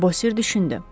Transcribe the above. Bosir düşündü.